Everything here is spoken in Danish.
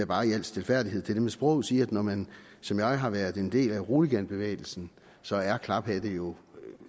bare i al stilfærdighed til det med sproget sige at når man som jeg har været en del af roliganbevægelsen så er klaphatte jo